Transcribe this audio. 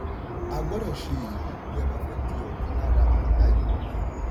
a gbọ́dọ̀ ṣe èyí bí a bá fẹ́ di ọ̀kan lára àgbáyé.